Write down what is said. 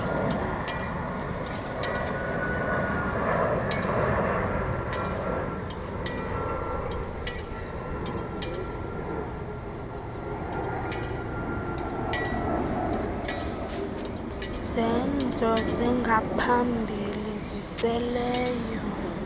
zenzo zingaphambili ziseleleyo